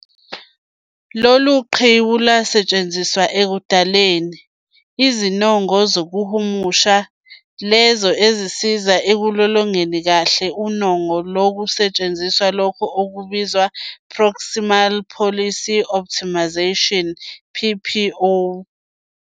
Lolu qhiwu lwasetshenziswa ekudaleni "izinongo zokuhlumulisa" lezo ezasiza ekulolongeni kahle unongo kusetshenziswa lokho okubizwa "Proximal Policy Optimization PPO".